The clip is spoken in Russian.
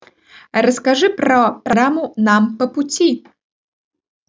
расскажи про раму нам по пути